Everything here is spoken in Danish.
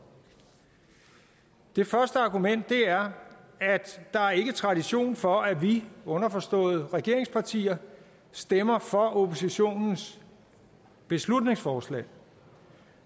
det første argument er tradition for at vi underforstået regeringspartierne stemmer for oppositionens beslutningsforslag